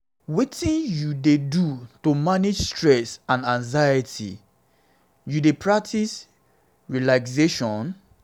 wetin you dey do to manage stress and anxiety you dey you dey practice relaxation?